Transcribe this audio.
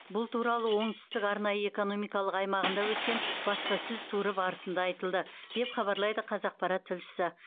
бұл туралы оңтүстік арнайы экономикалық аймағында өткен баспасөз туры барысында айтылды деп хабарлайды қазақпарат тілшісі